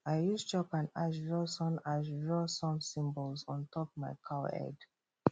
i use chalk and ash draw sun ash draw sun symbols on top my cow head